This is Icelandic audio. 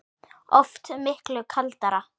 Oft miklu kaldara